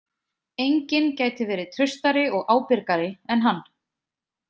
Enginn gæti verið traustari og ábyrgari en hann.